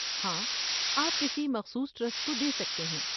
ہاں، آپ کسی مخصوص ٹرسٹ کو دے سکتے ہیں۔